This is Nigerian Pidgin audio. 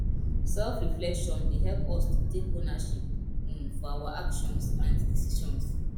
selfreflection dey help us to take ownership um of our actions and decisions